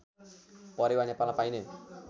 परेवा नेपालमा पाइने